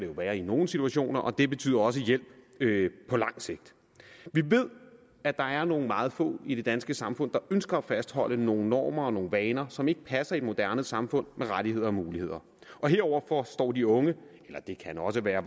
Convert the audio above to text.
være i nogle situationer og det betyder også hjælp på lang sigt vi ved at der er meget få i det danske samfund der ønsker at fastholde nogle normer og nogle vaner som ikke passer ind i et moderne samfund med rettigheder og muligheder og heroverfor står de unge eller det kan også være